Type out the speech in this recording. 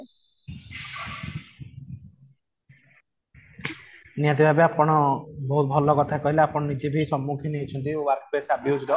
ନିହାତି ଭାବେ ଆପଣ ବହୁତ ଭଲ କଥା କହିଲେ ଆପଣ ନିଜେ ବି ସମ୍ମୁଖୀନ ହେଇଛନ୍ତି work place